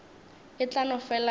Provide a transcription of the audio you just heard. e tla no fela e